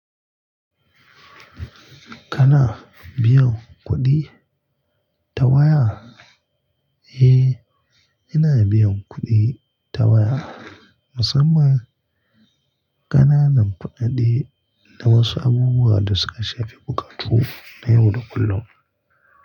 Kana biyan kuɗi ta waya? Eh, ina biyan kuɗi ta waya musamman ƙananan fa'adi da wasu abubuwa da suka shafi bukatu na yau da kullum.